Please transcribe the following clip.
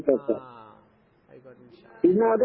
ആഹ്. ആയിക്കോട്ടെ. ഇൻഷാ അല്ലാഹ്.